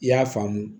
I y'a faamu